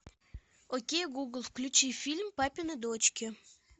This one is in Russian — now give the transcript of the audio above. окей гугл включи фильм папины дочки